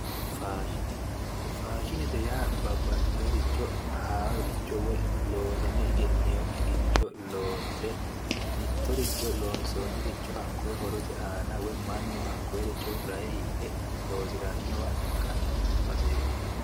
Faashine faashinete yaa babbaxxeericho haaroricho woyi loosame egenneekkiricho loonse mittoricho loonsoonniricho hakkoye horote aana woyi mannu hakkoyeericho rahote hidhe loosirannowa ikkanno baseeti.